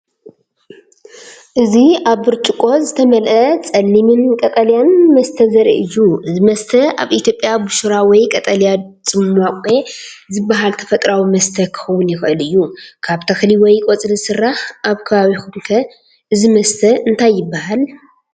እዚ ኣብ ብርጭቆ ዝተመልአ ጸሊምን ቀጠልያን መስተ ዘርኢ እዩ። እዚ መስተ ኣብ ኢትዮጵያ “ቡሽራ” ወይ “ቀጠልያ ጽማቝ” ዝበሃል ተፈጥሮኣዊ መስተ ክኸውን ይኽእል እዩ፣ ካብ ተኽሊ ወይ ቆጽሊ ዝስራሕ። ኣብ ከበቢኩም ከ እዚ መስተ እንታይ ይባሃል?